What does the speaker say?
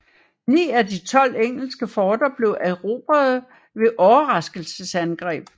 Ni af de tolv engelske forter blev erobrede ved overraskelsesangreb